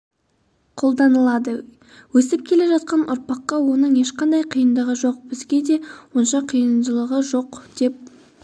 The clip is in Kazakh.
қолданылады өсіп келе жатқан ұрпаққа оның ешқандай қиындығы жоқ бізге де онша қиыншылығы жоқ деп